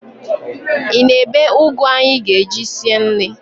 Ị na-ebe ụgụ anyị ga-eji sie nri?